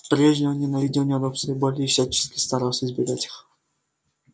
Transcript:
прежде он ненавидел неудобства и боль и всячески старался избегать их